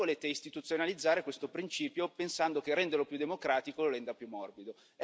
Voi volete istituzionalizzare questo principio pensando che renderlo più democratico lo renda più morbido.